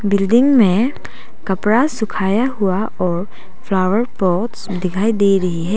Building में कपड़ा सुखाया हुआ और फ्लावर पॉट्स दिखाई दे रही है।